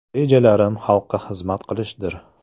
Rejalarim xalqqa xizmat qilishdir.